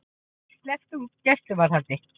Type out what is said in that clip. Sleppt úr gæsluvarðhaldi